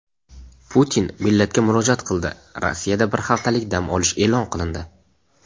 Putin millatga murojaat qildi: Rossiyada bir haftalik dam olish e’lon qilindi.